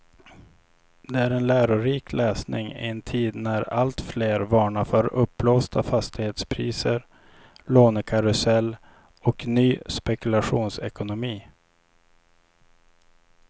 Det är en lärorik läsning i en tid när alltfler varnar för uppblåsta fastighetspriser, lånekarusell och ny spekulationsekonomi.